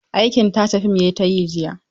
Aikin tace fim ya yi ta yi jiya.